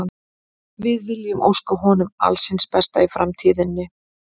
Við viljum óska honum alls hins besta í framtíðinni.